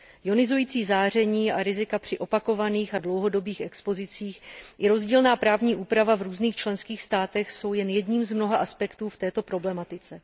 Ionizující záření a rizika při opakovaných a dlouhodobých expozicích i rozdílná právní úprava v různých členských státech jsou jen jedním z mnoha aspektů v této problematice.